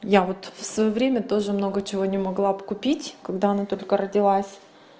я вот в своё время тоже много чего не могла б купить когда она только родилась